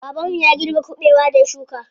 Baban mu ya girbe kuɓewar da ya shuka.